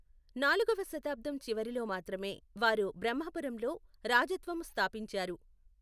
నాలుగవ శతాబ్దం చివరిలో మాత్రమే వారు బ్రహ్మపురంలో రాజత్వము స్థాపించారు.